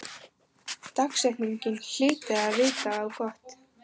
Dagsetningin hlyti að vita á gott.